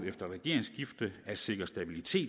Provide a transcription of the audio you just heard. et regeringsskifte at sikre stabilitet